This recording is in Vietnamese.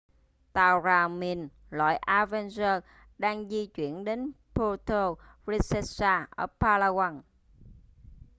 tàu rà mìn loại avenger đang di chuyển đến puerto princesa ở palawan